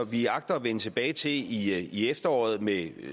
vi agter at vende tilbage til i i efteråret med